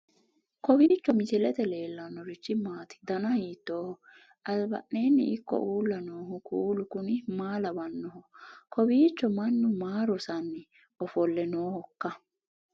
kowiicho misilete leellanorichi maati ? dana hiittooho ?abadhhenni ikko uulla noohu kuulu kuni maa lawannoho? kowiicho mannu maa rosanni ofolle noohoikka